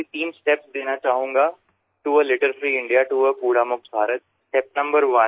রিপু দমনআমি আসলে তিনটি পর্যায় বা ধাপের কথা বলব আবর্জনা মুক্ত ভারত গঠনের উদ্দেশ্যে